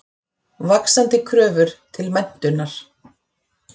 Vaxandi kröfur til menntunar.